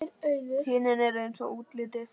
Kynin eru eins í útliti.